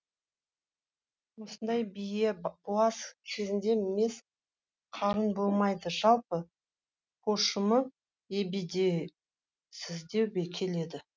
осындай бие буаз кезінде мес қарын болмайды жалпы пошымы ебедейсіздеу келеді